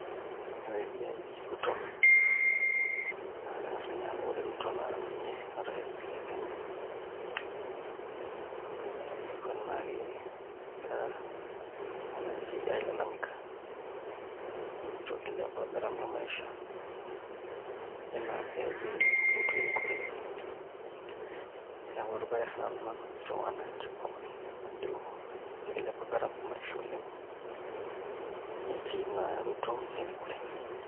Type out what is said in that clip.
Ore esiai e Ruto aa keng'as ninye aaku ore Ruto naa ninye orais le Kenya neton ake egira wananchi ailalamika nejito kilepa gharama e maisha enaa pee etum Ruto erikore, neeku arubare sinan ina najito wananchi pookin ajo ekilepa gharama e maisha oleng' etii naa Ruto erikore.